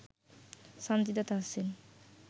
Sanjida Tahsin